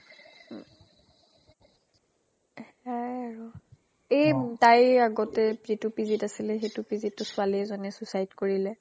এ সেয়াই আৰু এ তাই আগতে যিটোPGত আছিলে সেইটো PGত টো ছোৱালীয়ে এজনী suicide কৰিলে